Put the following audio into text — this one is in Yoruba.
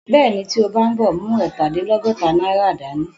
Bẹ́ẹ̀ni, tí o bá ń bọ̀, mú ẹ̀ta dín lọ́gọ́ta náírà dá ní